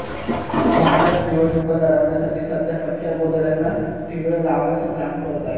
भाजप निवडणुका लढवण्यासाठी सध्या फटक्या गोधड्यांना ठिगळं लावण्याचं काम करत आहे